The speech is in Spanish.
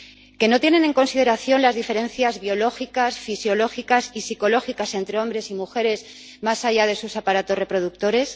¿Que no tienen en consideración las diferencias biológicas, fisiológicas y psicológicas entre hombres y mujeres, más allá de sus aparatos reproductores?